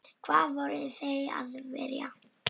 Hvað voru þeir að vilja?